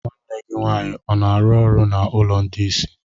Nwanne gị nwaanyị ọ na-arụ n'ụlọ ndị isi?